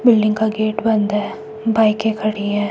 Building का gate बंद है बाईकें खड़ी है।